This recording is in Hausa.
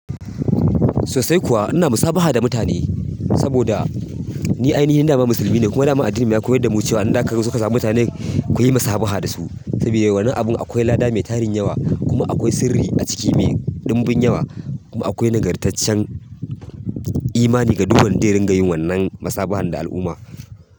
Sosai kuwa ina musabaha da mutane saboda ni ainihi dama musulmi ne kuma dama addini ya koyar da mu cewa in ka zo ka sani mutane ku yi musabaha da su. Saboda wannan abun akwai lada mai tarin yawa kuma akwai sirri a ciki mai dumbin yawa kuma akwai nagartaccen imani ga duk wanda zai rinƙa yin wannan musabaha da al'umma.